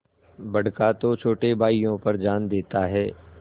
बड़का तो छोटे भाइयों पर जान देता हैं